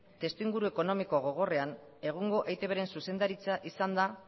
testuinguru ekonomiko gogorrean egungo eitbren zuzendaritza izan da